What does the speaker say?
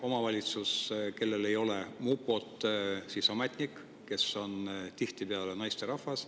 Omavalitsuses, kus ei ole mupot, on selleks ametnik, kes on tihtipeale naisterahvas.